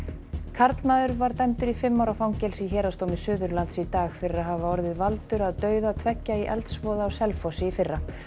karlmaður var dæmdur í fimm ára fangelsi í Héraðsdómi Suðurlands í dag fyrir að hafa orðið valdur að dauða tveggja í eldsvoða á Selfossi í fyrra